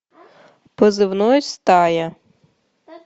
позывной стая